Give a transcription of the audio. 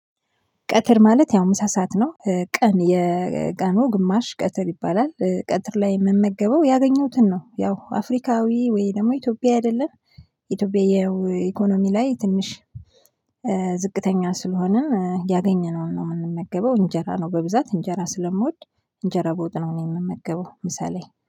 ቀትር ማለት ያው ምሳ ሰዓት ነው ቀን የቀኑ ግማሽ ቀትር ይባላል። ቀትር ላይ የምመገበው ያገኘሁትን ነው ያው አፍሪካዊ ወይ ደግሞ ኢትዮጵያ አይደለን፤። ኢትዮጵያዊ ኢኮኖሚ ላይ ትንሽ ዝቅተኛ ስለሆንን ያገኘነውን ነው ምንመገበው እንጀራ ነው በብዛት እንጀራ ስለምወድ። እንጀራ ቦታ ነው ምመገበው ምሳ ላይ